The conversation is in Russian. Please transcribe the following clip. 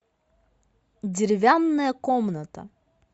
деревянная комната